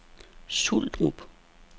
Suldrup